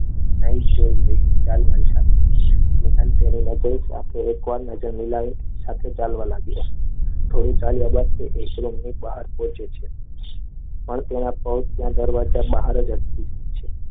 ચાલ મારી સાથે સાથે ચાલવા લાગ્યો. થોડું ચાલવા બાદ એ ઈશ્વરની બહાર પહોંચ્યો. અહીં તેના પગ દરવાજા બહાર જ હતા